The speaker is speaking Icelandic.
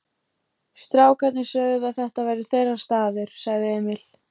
Strákarnir sögðu að þetta væri þeirra staður, sagði Emil.